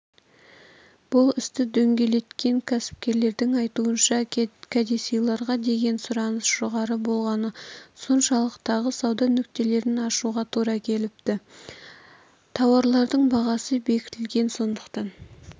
бұл істі дөңгелеткен кәсіпкерлердің айтуынша кәдесыйларға деген сұраныс жоғары болғаны соншалық тағы сауда нүктелерін ашуға тура келіпті тауарлардың бағасы бекітілген сондықтан